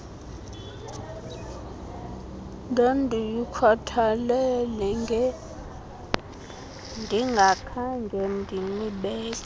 ndandiyikhathalele ngendingakhange ndinibeke